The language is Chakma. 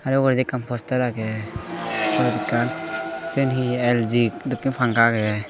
te uguredi ekkan postar agey se poredi ekkan siyen he LG dokken panka agey.